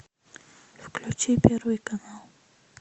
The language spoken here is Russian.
включи первый канал